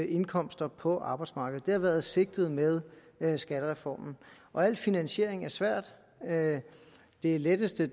indkomster på arbejdsmarkedet det har været sigtet med med skattereformen al finansiering er svær det letteste